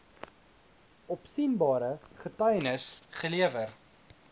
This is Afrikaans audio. opsienbare getuienis gelewer